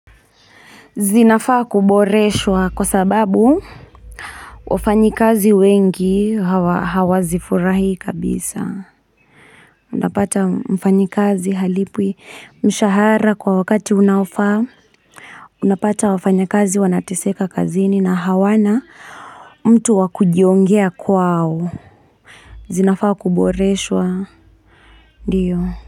Zinafaa kuboreshwa kwa sababu wafanyi kazi wengi hawazifurahii kabisa unapata mfanyi kazi halipwi mshahara kwa wakati unaofaa unapata wafanyi kazi wanateseka kazini na hawana mtu wakujiongea kwao zinafaa kuboreshwa ndiyo.